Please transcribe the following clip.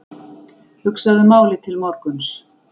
Hugsaðu málið til morguns.